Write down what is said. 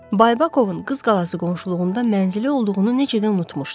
Baybakovun Qız Qalası qonşuluğunda mənzili olduğunu necə də unutmuşdu?